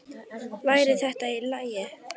Væri þetta í lagi?